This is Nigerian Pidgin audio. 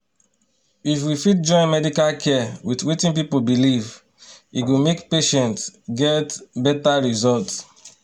if we fit join medical care with wetin people believe e go make patients get better result.